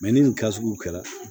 ni nin gasugu kɛra